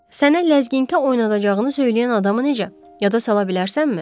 Sənə ləzginkə oynadacağını söyləyən adamı necə yada sala bilərsənmi?